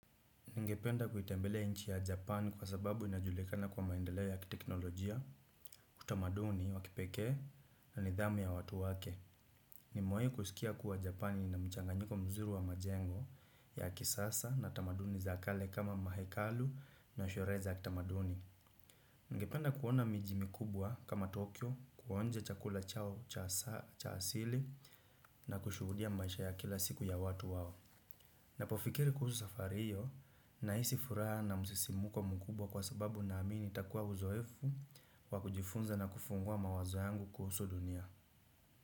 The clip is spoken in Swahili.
Ningependa kuitembele nchi ya Japani kwa sababu inajulikana kwa maendeleo ya kiteknolojia, utamaduni, wa kipekee na nidhamu ya watu wake. Nimewahi kusikia kuwa Japani ina mchanganyiko mzuri wa majengo ya kisasa na tamaduni za kale kama mahekalu na sherehe za kitamaduni. Ningependa kuona miji mikubwa kama Tokyo, kuonja chakula chao cha asa cha asili na kushuhudia maisha ya kila siku ya watu wao. Napofikiri kuhusu safari hiyo, nahisi furaha na msisimuko mkubwa kwa sababu naamini takua uzoefu wa kujifunza na kufungua mawazo yangu kuhusu dunia.